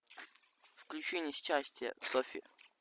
включи несчастья софи